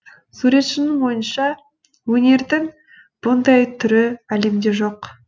суретшінің ойынша өнердің бұндай түрі әлемде жоқ